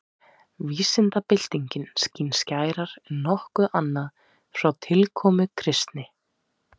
Vísindabyltingin skín skærar en nokkuð annað frá tilkomu kristni.